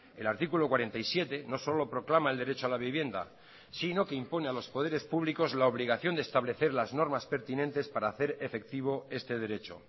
el artículo cuarenta y siete no solo proclama el derecho a la vivienda sino que impone a los poderes públicos la obligación de establecer las normas pertinentes para hacer efectivo este derecho